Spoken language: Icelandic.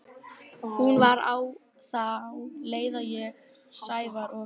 Hún var á þá leið að ég, Sævar og